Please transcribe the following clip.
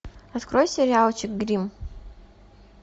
открой сериальчик гримм